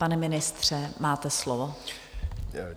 Pane ministře, máte slovo.